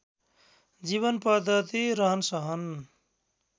जीवन पद्धति रहनसहन